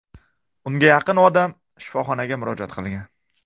O‘nga yaqin odam shifoxonaga murojaat qilgan.